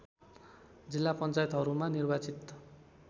जिल्ला पञ्चायतहरूमा निर्वाचित